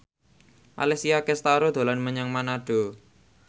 Alessia Cestaro dolan menyang Manado